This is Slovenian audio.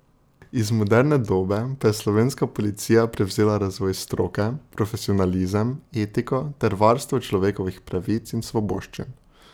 Iz moderne dobe pa je slovenska policija prevzela razvoj stroke, profesionalizem, etiko ter varstvo človekovih pravic in svoboščin.